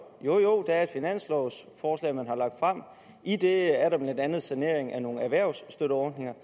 jo der er et finanslovforslag som man har lagt frem i det er der blandt andet en sanering af nogle erhvervsstøtteordninger